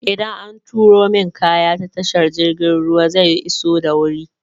Idan an turo min kaya ta tashar jirgin ruwa zai iso da wuri?